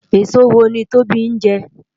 Esó wó ni Tobi njè?